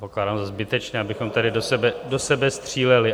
Pokládám za zbytečné, abychom tady do sebe stříleli.